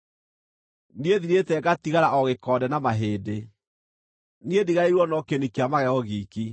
Niĩ thirĩte ngatigara o gĩkonde na mahĩndĩ; niĩ ndigarĩirwo no kĩni kĩa magego giiki.